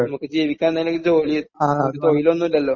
നമുക്ക് ജീവിക്കാൻ എന്തെങ്കിലും ജോലി നമ്മക്ക് തൊഴിലൊന്നുമില്ലല്ലോ?